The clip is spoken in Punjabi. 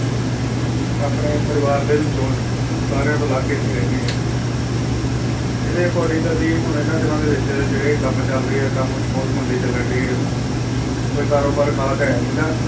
ਆਪਣੇ ਪਰਿਵਾਰ ਦੇ ਵਿੱਚੋਂ ਸਾਰਿਆਂ ਤੋਂ ਅਲੱਗ ਇੱਥੇ ਰਹਿੰਦੇ ਹਾਂ ਇਹਦੇ according ਅਸੀਂ ਹੁਣ ਇਹਨਾਂ ਦਿਨਾਂ ਦੇ ਵਿੱਚ ਜਿਹੜੇ ਕੰਮ ਚੱਲ ਰਹੇ ਆ ਕੰਮ ਵੀ ਬਹੁਤ ਮੰਦੇ ਚੱਲਣ ਡੇ ਆ ਕੋਈ ਕਾਰੋਬਾਰ ਖ਼ਾਸ ਹੈ ਨੀ ਗਾ